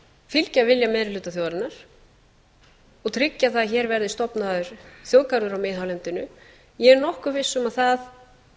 fylgja vilja meiri hluta þjóðarinnar og tryggja það að hér verði stofnaður þjóðgarður á miðhálendinu ég er nokkuð viss um að það